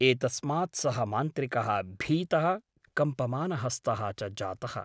एतस्मात् सः मान्त्रिकः भीतः कम्पमानहस्तः च जातः ।